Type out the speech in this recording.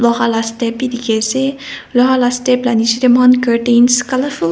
loha la step bhi dekhe ase loha la step la nechidae mokhan curtains colourful .